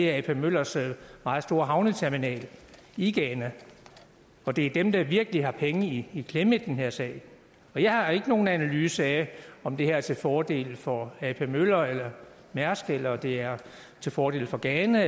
er ap møllers meget store havneterminal i ghana det er dem der virkelig har penge i i klemme i den her sag jeg har ikke nogen analyse af om det her er til fordel for ap møller eller mærsk eller det er til fordel for ghana